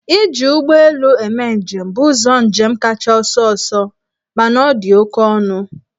Iji ụgbọ elu eme njem bụ ụzọ njem kacha ọsọọsọ mana ọ dị oke ọnụ.